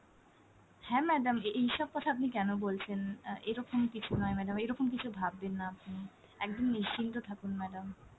হ্যাঁ madam এ~ এইসব কথা আপনি কেন বলছেন? অ্যাঁ এরকম কিছু নয় madam, এরকম কিছু ভাববেন না আপনি, একদম নিশ্চিন্ত থাকুন madam।